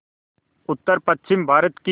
उत्तरपश्चिमी भारत की